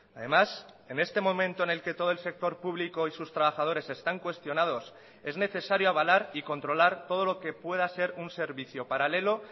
además en este momento en el que todo el sector público y sus trabajadores están cuestionados es necesario avalar y controlar todo lo que pueda ser un servicio paralelo